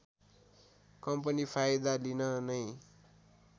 company फाइदा लिन नै